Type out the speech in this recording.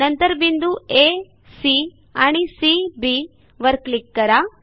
नंतर बिंदू A C आणि सी B वर क्लिक करा